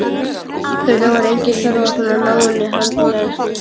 Auðvitað var engin þörf á svona náinni handleiðslu.